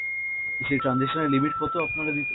সেই transaction এর limit কতো আপনারা দিতে~